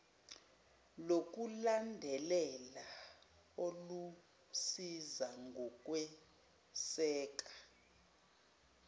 lokulandelela olusiza ngokweseka